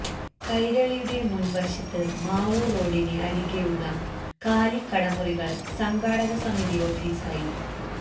കൈരളിയുടെ മുൻ വശത്ത് മാവൂർ റോഡിന് അരികെ ഉള്ള കാലി കട മുറികൾ സംഘാടക സമിതി ഓഫീസ് ആയി